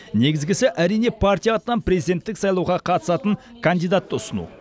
негізгісі әрине партия атынан президенттік сайлауға қатысатын кандидатты ұсыну